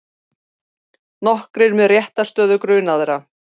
Nokkrir með réttarstöðu grunaðra